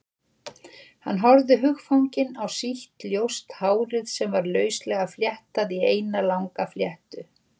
Hann horfði hugfanginn á sítt, ljóst hárið sem var lauslega fléttað í eina langa fléttu.